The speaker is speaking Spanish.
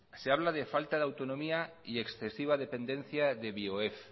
se habla de falta de autonomía y excesiva dependencia de bioef